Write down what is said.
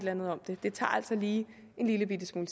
andet om det det tager altså lige en lillebitte smule